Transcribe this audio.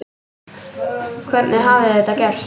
Hvernig hafði þetta gerst?